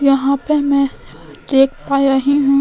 यहाँ पे मैं देख पा रही हूँ --